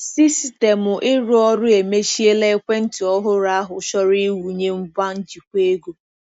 Sistemụ ịrụ ọrụ emechiela ekwentị ọhụrụ ahụ chọrọ ịwụnye ngwa njikwa ego.